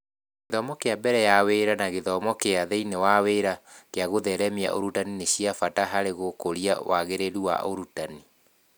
Gĩthomo kĩa mbere ya wĩra na gĩthomo kĩa thĩiniĩ wa wĩra kĩa gũtheremia ũrutani nĩ cia bata harĩ gũkũria wagĩrĩru wa ũrutani